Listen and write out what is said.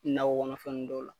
Naw wara dɔw la.